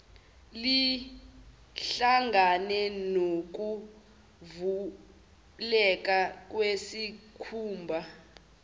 lihlangane nokuvuleka kwesikhumba